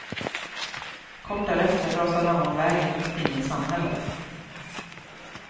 Kort därefter rasade han av vägen mitt inne i samhället.